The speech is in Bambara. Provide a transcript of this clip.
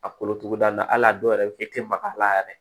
A kolo tuguda in na hali a dɔw yɛrɛ fiyɛ tɛ maga a la yɛrɛ